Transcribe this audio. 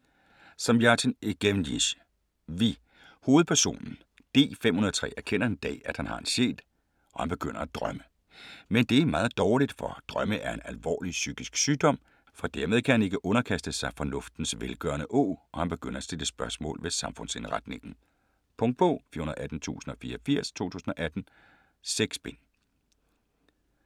Zamjatin, Evgenij: Vi Hovedpersonen, D-503, erkender en dag, at han har en sjæl, og han begynder at drømme. Men det er meget dårligt, for "drømme er en alvorlig psykisk sygdom", for dermed kan han ikke underkaste sig "fornuftens velgørende åg", og han begynder at stille spørgsmål ved samfundsindretningen. Punktbog 418084 2018. 6 bind.